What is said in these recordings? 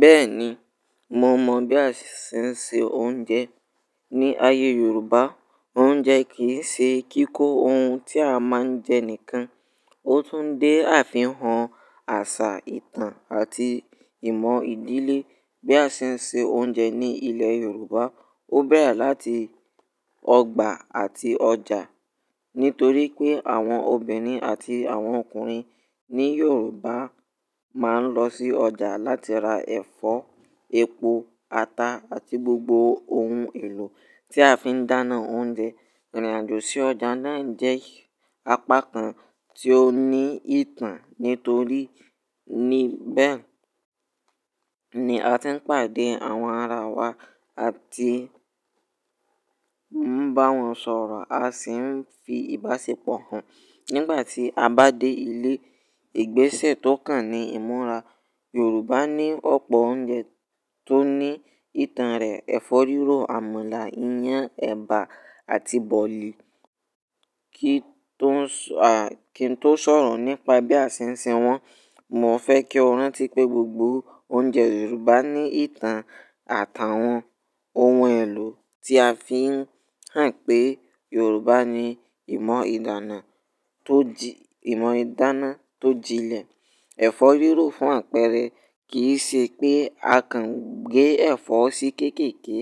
Bẹ́ẹ̀ni, mo mọ̀ bí a ṣe ń se oúnjẹ. Ni ayé Yorùbá, oúnjẹ kì í ṣe kíkó ohun tí a máa ń jẹ nìkan, ó tún dé àfihàn àṣà, ìtàn àti ìmọ̀ ìdílé. Bí a ṣe ń se oúnjẹ ní ilẹ̀ Yorùbá, ó bẹ̀rẹ̀ láti ọgbà àti ọjà. Nítorí pé àwọn obìnrin àti àwọn ọkùnrin ní Yorùbá máa ń lọ sí ọjà láti ra ẹ̀fọ́, epo, ata àti gbogbo ohun èlò tí a fi ń dáná oúnjẹ. Ìrìn àjò sí ọjà náà jẹ́ apakan tí ó ní ìtàn. Nítorí níbẹ̀ ni a ti ń pàdé àwọn ara wa àti ń bá wọn sọ̀rọ̀, a sì ń fi ìbáṣepọ̀ hàn. Nígbà tí a bá dé ilé, ìgbésẹ̀ tó kàn ní ìmúra. Yorùbá ní ọ̀pọ̀ oúnjẹ tó ní ìtàn rẹ̀: ẹ̀fọ́ rírò, àmàlà, iyán, ẹ̀bà àti bọ̀lì. Kí n tó sọ̀rọ̀ nípa bí a ṣe ń se wọ́n, mo fẹ́ kí o rántí pé gbogbo oúnjẹ Yorùbá ní ìtàn àtàwọn ohun èlò tí a fi ń hàn pé Yorùbá ní ìmọ̀ ìdáná tó jin ìmọ̀ ìdáná tó jinlẹ̀. Ẹ̀fọ́ rírò fún àpẹẹrẹ kì í ṣe pé a kàn gé ẹ̀fọ́ sí kéékèèké.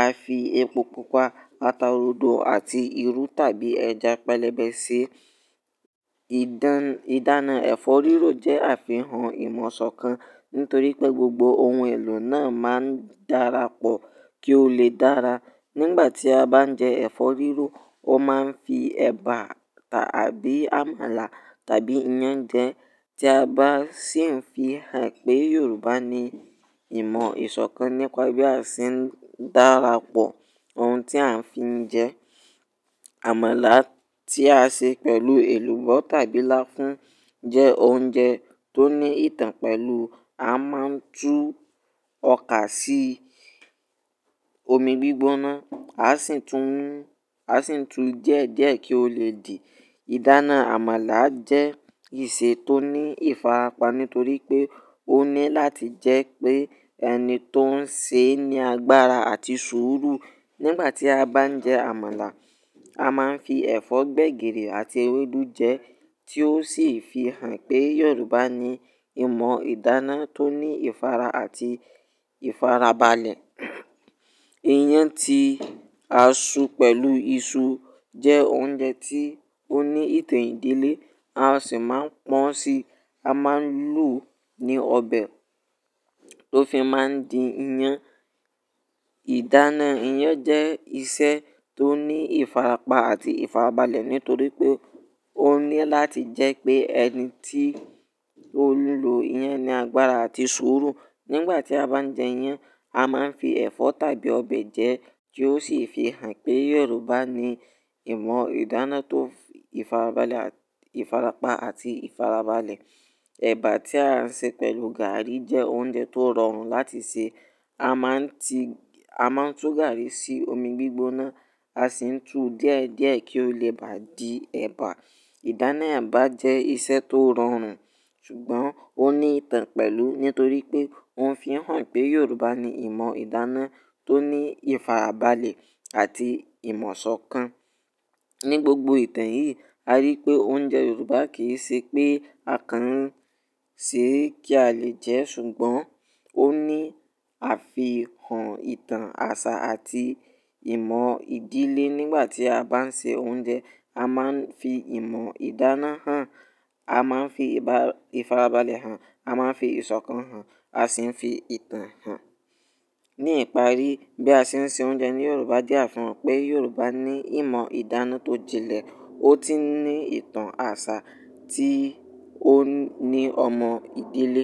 A fi epo pupa, ata rodo àti irú tàbí ẹja pẹlẹbẹ síi. Ìdáná ẹ̀fọ́ rírò jẹ́ àfihàn ìmọ̀ sọ̀kan nítorí pé gbogbo ohun èlò náà máa ń dára pọ̀ kí ó lè dára. Nígbà tí a bá ń jẹ ẹ̀fọ́ rírò, ó máa ń fi ẹ̀bà tàbí àmàlà tàbí iyán jẹ. Tí a bá sì ń fi hàn pé, Yorùbá ní ìmọ̀ ìsọ̀kan nípa bí a ṣe ń dára pọ̀ ohun tí à ń fi jẹ. Àmàlà tí a ṣe pẹ̀lú èlùbọ́ tàbí láfún jẹ́ oúnjẹ tó ní ìtàn pẹ̀lú. A máa ń tú ọkà sí omi gbígbóná, a sì ń tú díẹ̀díẹ̀ kí ó lè dì. Ìdáná àmàlà jẹ́ ìṣe tó ní ìfarapa nítorí pé ó ní láti jẹ́ pé ẹni tó ń sè ní agbára àti sùúrù. Nígbà tí a bá ń jẹ àmàlà, a máa ń fi ẹ̀fọ́ gbẹ̀gìrì àti ewédú jẹ ẹ́, tí ó sì fi hàn pé Yorùbá ní ìmọ̀ ìdáná tó ní ìfara àti ìfarabalẹ̀. Iyán tí a sú pẹ̀lú iṣu jẹ́ oúnjẹ tí ó ní ìtàn ìdílé. A sì máa ń pọ́n si, a máa ń lo ní ọbẹ̀ tó fi máa ń di iyán. Ìdáná iyán jẹ́ ìṣe tó ní ìfarapa àti ìfarabalẹ̀ nítorí pé ó ní láti jẹ́ pé ẹni tí ó ń lu iyán ní agbára àti sùúrù. Nígbà tí a bá ń jẹ iyán, a máa ń fi ẹ̀fọ́ tàbí ọbẹ̀ jẹ ẹ́, tí ó sì fi hàn pé Yorùbá ní ìmọ̀ ìdáná tó ní ìfarapa àti ìfarabalẹ̀. Ẹ̀bà tí a ń ṣe pẹ̀lú gàárì jẹ́ oúnjẹ tó rọrùn láti sè. A máa ń tú gàárì sí omi gbígbóná, a sì ń tú díẹ̀díẹ̀ kí ó lè bà dí ẹ̀bà. Ìdáná ẹ̀bà jẹ́ ìṣe tó rọrùn, ṣùgbọ́n ó ní ìtàn pẹ̀lú nítorí pé ó ń fi hàn pé Yorùbá ní ìmọ̀ ìdáná tó ní ìfarabalẹ̀ àti ìmọ̀ sọ̀kan. Ni gbogbo ìtàn yìí, a rí pé oúnjẹ Yorùbá kìí ṣe pé a kàn ń sè é kí a lè jẹ ẹ́, ṣùgbọ́n ó ní àfihàn ìtàn àṣà àti ìmọ̀ ìdílé. Nígbà tí a bá ń se oúnjẹ, a máa ń fi ìmọ̀ ìdáná hàn, a máa ń fi ìfarabalẹ̀ hàn, a máa ń fi ìsọ̀kan hàn, a sì ń fi ìtàn hàn. Ní ìparí, bí a ṣe ń ṣe oúnjẹ ní Yorùbá jẹ̀ àfihàn pé Yorùbá ní ìmọ̀ ìdáná tó jinlẹ̀, ó tun ní ìtàn àṣà tí ó ní ọmọ ìdílé.